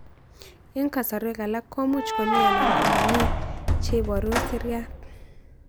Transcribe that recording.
Eng' kasarwek alak ko much komii anan ko mamii che ibaru Siriat